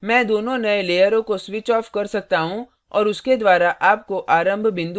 मैं दोनों नई लेयरों को switch off कर सकता हूँ और उसके द्वारा आपको आरंभ बिंदु प्राप्त हो जाता है